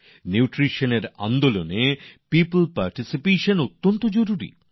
পুষ্টির এই আন্দোলনে জন অংশিদারিত্ব খুব জরুরি